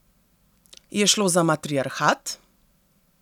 Je šlo za matriarhat?